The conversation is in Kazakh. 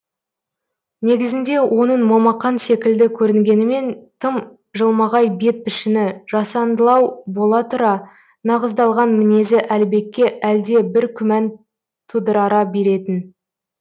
негізінде оның момақан секілді көрінгенімен тым жылмағай бет пішіні жасандылау бола тұра нығыздалған мінезі әлібекке әлде бір күмән тудырара беретін